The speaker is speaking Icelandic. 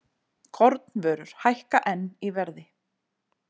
Kornvörur hækka enn í verði